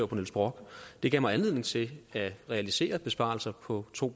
på niels brock det gav mig anledning til at realisere besparelser på to